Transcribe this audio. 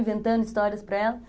Inventando histórias para elas.